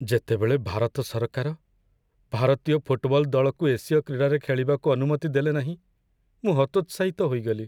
ଯେତେବେଳେ ଭାରତ ସରକାର ଭାରତୀୟ ଫୁଟବଲ ଦଳକୁ ଏସୀୟ କ୍ରୀଡ଼ାରେ ଖେଳିବାକୁ ଅନୁମତି ଦେଲେନାହିଁ, ମୁଁ ହତୋତ୍ସାହିତ ହୋଇଗଲି।